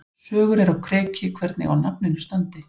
Sögur eru á kreiki hvernig á nafninu standi.